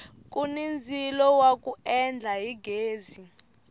kuni ndzilo wa ku endla hi ghezi